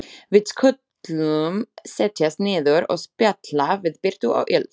Við skulum setjast niður og spjalla við birtu og yl.